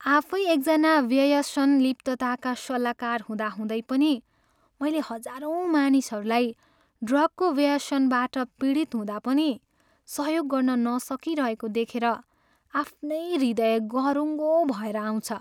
आफै एकजना व्यसनलिप्तताका सल्लाहकार हुँदाहुँदै पनि मैले हजारौँ मानिसहरूलाई ड्रगको व्यसनबाट पीडित हुँदा पनि सहयोग गर्न नसकिरहेको देखेर आफ्नै हृयद गह्रुङ्गो भएर आउँछ।